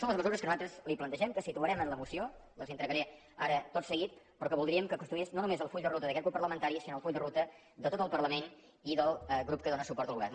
són les mesures que nosaltres li plantegem que situarem en la moció les hi entregaré ara tot seguit però que voldríem que constituïssin no només el full de ruta d’aquest grup parlamentari sinó el full de ruta de tot el parlament i del grup que dóna suport al govern